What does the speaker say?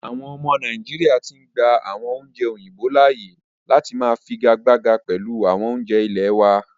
Àwọn ọmọ nàìjíríà tí ń gbà àwọn oúnjẹ òyìnbó láàyè láti máà fi igagbága pẹlu awọn oúnjẹ ilẹ̀ wa.